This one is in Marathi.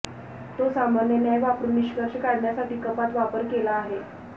तो सामान्य न्याय वापरून निष्कर्ष काढण्यासाठी कपात वापर केला आहे